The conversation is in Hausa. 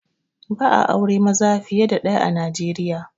Ba'a aure maza fiye da ɗaya a Nijeriya